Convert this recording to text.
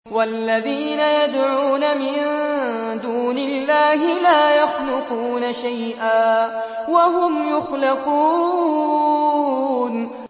وَالَّذِينَ يَدْعُونَ مِن دُونِ اللَّهِ لَا يَخْلُقُونَ شَيْئًا وَهُمْ يُخْلَقُونَ